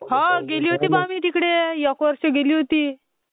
ping गेल होती बा तिकडे...एक वर्ष गेली होती...